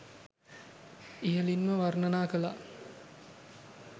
ඉහලින්ම වර්ණනා කලා